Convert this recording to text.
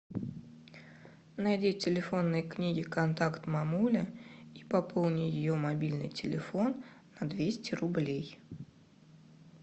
найди в телефонной книге контакт мамуля и пополни ее мобильный телефон на двести рублей